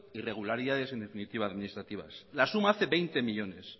irregularidades en definitiva administrativas la suma hace veinte millónes